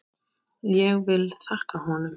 Ég vil þakka honum.